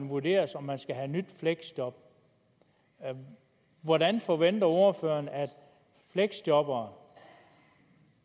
vurderes om man skal have et nyt fleksjob hvordan forventer ordføreren at fleksjobbere